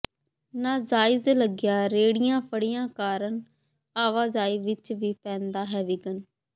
ਨਜਾਇਜ਼ ਲੱਗੀਆਂ ਰੇਹੜੀਆਂ ਫੜੀਆਂ ਕਾਰਨ ਆਵਾਜਾਈ ਵਿੱਚ ਵੀ ਪਂੈਦਾ ਹੈ ਵਿਘਨ